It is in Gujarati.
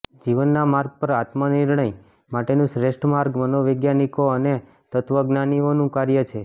જીવનના માર્ગ પર આત્મનિર્ણય માટેનું શ્રેષ્ઠ માર્ગ મનોવૈજ્ઞાનિકો અને તત્વજ્ઞાનીઓનું કાર્ય છે